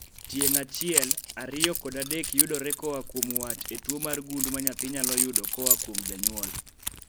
Tieng' achiel, ariyo kod adek yudore koa kuom wat e tuo mar gund ma nyathi nyalo yudo koa kuom janyuol